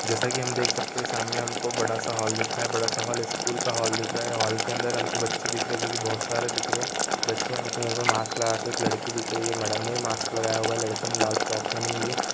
जैसा की हम देख सकते है सामने हमको बड़ा सा हॉल दिख रहा है बड़ा सा हॉल स्कूल इस स्कूल का हॉल दिख रहा है हॉल के अंदर हमको बच्चे दिख रहे है जो की बहुत सारे दिख रहे है बच्चे ने मूह मे मास्क लगा के एक लड़की दिख रही है मैडम ने मास्क लगाया हुआ है लड़की ने लाल फ्रॉक पहनी हुई है।